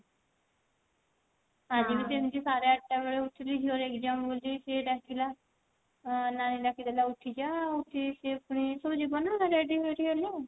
ଆଜି ବି ସେମିତି ସାଢେ ଆଠ ଟା ବେଳେ ଉଠିଲି ଝିଅ ର exam ବୋଲି ସେ ଡାକିଲା ଅ ନାନି ଡାକିଦେଲା ଉଠିଜା ଉଠିକି ସେ ପୁଣି school ଯିବ ନା ready ଫେଡୀ ହେଲେ